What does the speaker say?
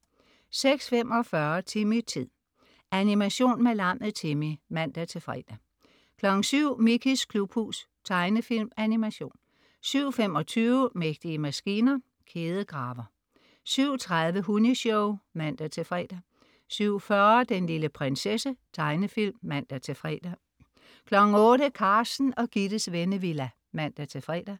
06.45 Timmy-tid. Animation med lammet Timmy (man-fre) 07.00 Mickeys klubhus. Tegnefilm/Animation 07.25 Mægtige maskiner. Kædegraver 07.30 Hunni-show (man-fre) 07.40 Den lille prinsesse. Tegnefilm (man-fre) 08.00 Carsten og Gittes Vennevilla (man-fre)